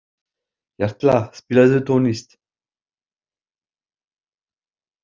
Jarla, spilaðu tónlist.